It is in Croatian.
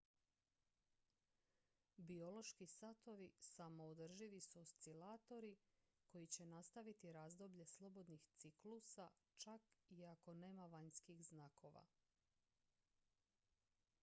biološki satovi samoodrživi su oscilatori koji će nastaviti razdoblje slobodnih ciklusa čak i ako nema vanjskih znakova